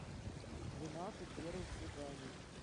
двенадцать первых свиданий